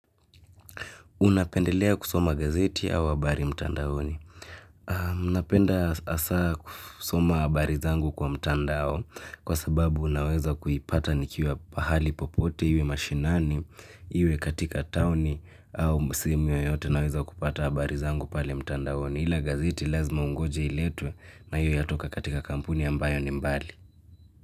Unapendelea kusoma gazeti au habari mtandaoni? Ninapenda hasa kusoma habari zangu kwa mtandao kwa sababu ninaweza kuipata nikiwa pahali popote iwe mashinani iwe katika taoni au sehemu yoyote naweza kupata habari zangu pale mtandaoni. Ila gazeti lazima ungoje iletwe na hio yatoka katika kampuni ambayo ni mbali.